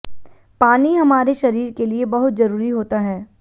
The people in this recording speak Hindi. पानी हमारे शरीर के लिए बहुत जरूरी होता है